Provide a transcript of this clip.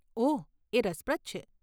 ઓહ, એ રસપ્રદ છે.